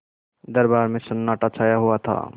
दरबार में सन्नाटा छाया हुआ था